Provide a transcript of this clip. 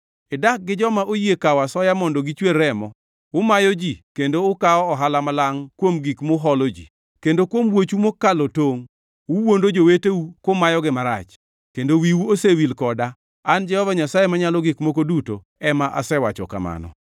Idak gi joma oyie kawo asoya mondo gichwer remo; umayo ji kendo ukawo ohala malangʼ kuom gik muholo ji; kendo kuom wuochu mokalo tongʼ, uwuondo joweteu kumayogi marach. Kendo wiu osewil koda, an Jehova Nyasaye Manyalo Gik Moko Duto ema asewacho kamano.